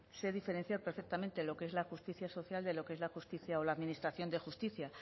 sé diferenciar perfectamente lo que es la justicia social de lo que es la justicia o la administración de justicia